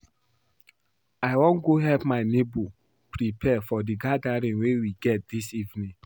I wan go help my neighbor prepare for the gathering we get dis evening